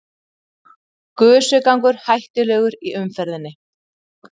Gusugangur hættulegur í umferðinni